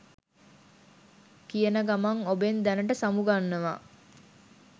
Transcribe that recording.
කියන ගමන් ඔබෙන් දැනට සමුගන්නවා